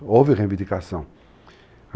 Houve reivindicação.